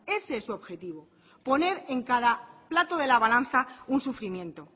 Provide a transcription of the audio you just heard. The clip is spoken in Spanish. ese es su objetivo poner en cada plato de la balanza un sufrimiento